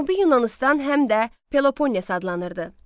Cənubi Yunanıstan həm də Peloponnes adlanırdı.